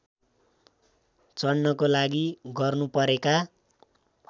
चढ्नको लागि गर्नुपरेका